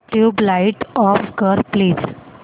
tubelight off कर please